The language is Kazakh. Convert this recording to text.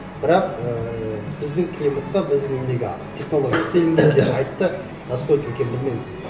бірақ ііі біздің климатқа біздің неге технология істелінді деп айтты насколько екенін білмеймін